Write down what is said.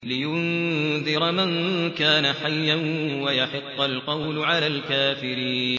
لِّيُنذِرَ مَن كَانَ حَيًّا وَيَحِقَّ الْقَوْلُ عَلَى الْكَافِرِينَ